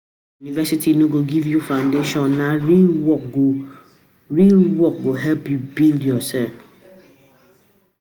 University go give you foundation; na real work go real work go help you build yoursef.